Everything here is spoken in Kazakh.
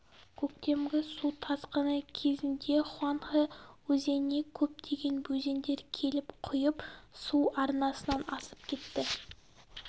көктемгі су тасқыны кезінде хуанхэ өзеніне көптеген өзендер келіп құйып су арнасынан асып кетті